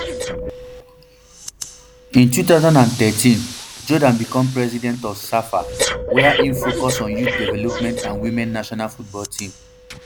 in two thousand and thirteen jordaan become president of safa wia im focus on youth development and women national football team